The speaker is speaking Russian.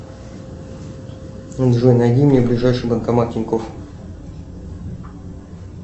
джой найди мне ближайший банкомат тинькоф